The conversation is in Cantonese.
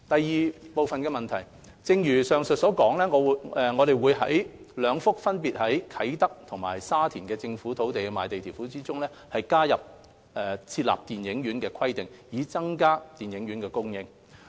二正如上文所述，我們會在兩幅分別位於啟德和沙田的政府土地的賣地條款中，加入設立電影院的規定，以增加電影院供應。